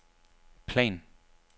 plan